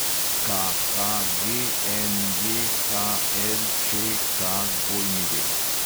KHGNJHLČKW